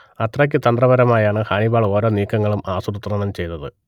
അത്രയ്ക്കു തന്ത്രപരമായാണ് ഹാനിബാൾ ഒരോ നീക്കങ്ങളും ആസൂത്രണം ചെയ്തത്